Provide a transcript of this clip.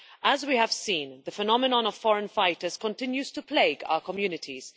As we have seen, the phenomenon of foreign fighters continues to plague our communities.